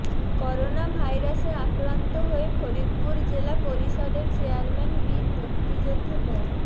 করোনাভাইরাসে আক্রান্ত হয়ে ফরিদপুর জেলা পরিষদের চেয়ারম্যান বীর মুক্তিযোদ্ধা মো